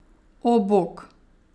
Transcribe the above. O, bog!